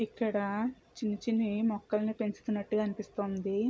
ఇక్కడ చిన్ని చిన్ని మొక్కల్ని పెంచుతున్నట్లు గా అనిపిస్తుంది.